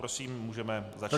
Prosím, můžeme začít.